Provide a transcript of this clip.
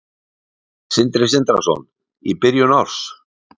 Sindri Sindrason: Í byrjun árs?